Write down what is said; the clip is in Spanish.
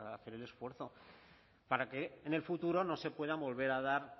hacer el esfuerzo para que en el futuro no se puedan volver a dar